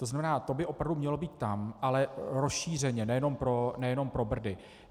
To znamená, to by opravdu mělo být tam, ale rozšířeně, nejenom pro Brdy.